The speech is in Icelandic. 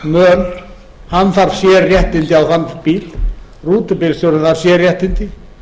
möl hann þarf sérréttindi á þann bíl rútubílstjórinn þarf sérréttindi